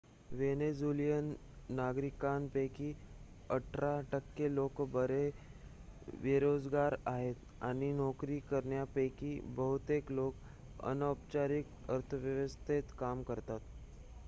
Venezuelan नागरिकांपैकी अठरा टक्के लोकं बेरोजगार आहेत आणि नोकरी करणाऱ्यांपैकी बहुतेक लोकं अनौपचारिक अर्थव्यवस्थेत काम करतात